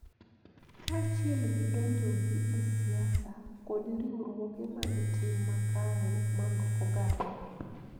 Kaachiel gi donjogi e siasa kod riwruoge mag tim makare mar oganda.